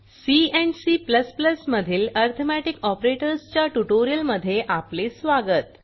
C and C मधील arithmetic operators च्या ट्युटोरियलमध्ये आपले स्वागत